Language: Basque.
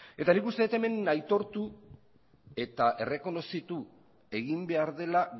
eta nik uste dut hemen aitortu eta errekonozitu egin behar dela